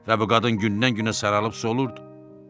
Və bu qadın gündən-günə saralıb solurdu.